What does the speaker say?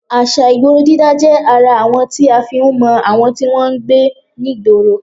À̀ṣà ìgboro dídá jẹ́ ara àwọn tí a fi ń mọ àwọn tí wọn ń gbé nígboro